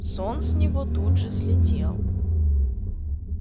сон с него тут же слетел